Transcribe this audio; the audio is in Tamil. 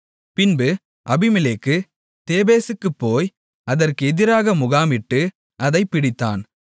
பின்பு அபிமெலேக்கு தேபேசுக்குப் போய் அதற்கு எதிராக முகாமிட்டு அதைப் பிடித்தான்